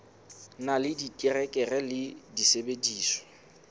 na le diterekere le disebediswa